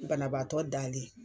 Banabaatɔ dalen.